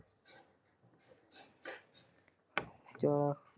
ਚਲੋ।